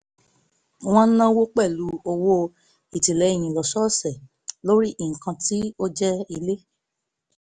wọ́n náwó pẹ̀lú owó ìtìlẹ́yìn lósọ̀ọ̀sẹ̀ lórí nǹkan tó jẹ ilé